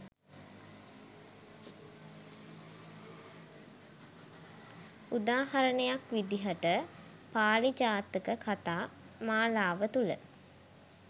උදාහරණයක් විදිහට පාළි ජාතක කතා මාලාව තුළ